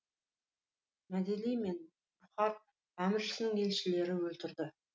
мәделі хан бұқар әміршісінің елшілерін өлтірді